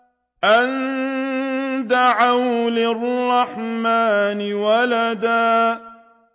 أَن دَعَوْا لِلرَّحْمَٰنِ وَلَدًا